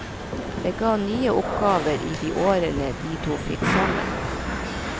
Det ga nye oppgaver i de årene de to fikk sammen.